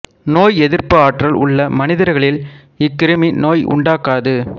நோய் எதிர்ப்பு ஆற்றல் உள்ள மனிதர்களில் இக்கிருமி நோய் உண்டாக்காது